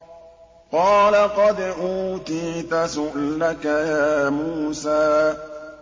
قَالَ قَدْ أُوتِيتَ سُؤْلَكَ يَا مُوسَىٰ